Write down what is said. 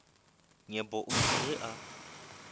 nyepo o ile ge a